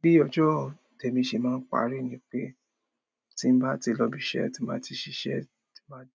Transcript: Bi ọjọ́ tèmi se máa ń parí ni pe, ti n ba ti lọ ibi iṣẹ́, tí n bá